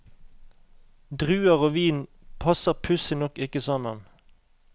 Druer og vin passer pussig nok ikke sammen.